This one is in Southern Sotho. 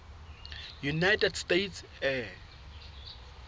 united states air